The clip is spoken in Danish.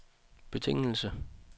betingelse